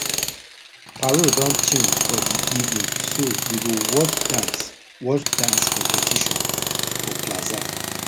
parole don change for the evening so we go watch dance watch dance competition for plaza